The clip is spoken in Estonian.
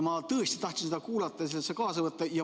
Ma tõesti tahtsin seda kuulata ja sellest osa võtta.